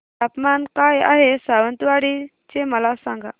तापमान काय आहे सावंतवाडी चे मला सांगा